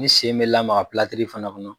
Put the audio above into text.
Ni sen bɛ lamaga fana kɔnɔ.